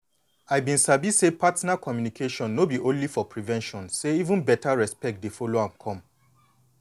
i been sabi say partner communication no be only for prevention say even beta respect dey follow am come